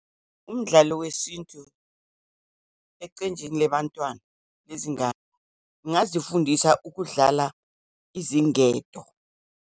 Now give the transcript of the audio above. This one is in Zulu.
Umdlalo wesintu, eqenjini lebantwana, lezingane, ngingazifundisa ukudlala izingedo.